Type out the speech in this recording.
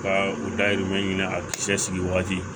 Ka u dahirimɛ ɲini a cɛ sigi waati